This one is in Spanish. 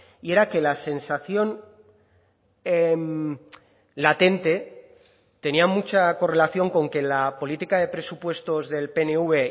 y era que la sensación latente tenía mucha correlación con que la política de presupuestos del pnv